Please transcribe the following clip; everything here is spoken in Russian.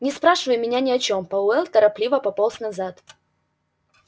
не спрашивай меня ни о чём пауэлл торопливо пополз назад